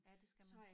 Ja det skal man